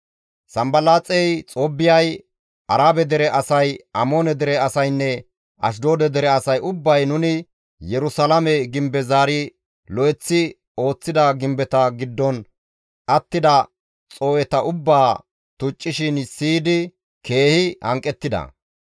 Sanbalaaxey, Xoobbiyay, Arabe dere asay, Amoone dere asaynne Ashdoode dere asay ubbay nuni Yerusalaame gimbeza zaari lo7eththi ooththida gimbeta giddon attida xoo7eta ubbaa tuccishin siyidi keehi hanqettida.